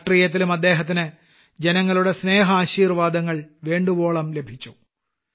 രാഷ്ട്രീയത്തിലും ആദ്ദേഹത്തിന് ജനങ്ങളുടെ സ്നേഹാശീർവാദങ്ങൾ വേണ്ടുവോളം ലഭിച്ചു